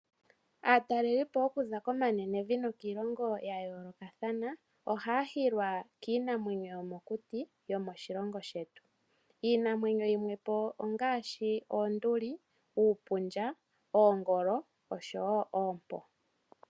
Aatalelipo okuza komanenevi nokiilongo ya yoolokathana ohaya hilwa kiinamwenyo yomokuti yomoshilongo shetu ,iinamwenyo yimwe po ongaashi oonduli ,uupundja oshowo oompo.